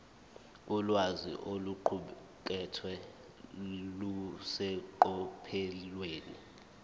ulwazi oluqukethwe luseqophelweni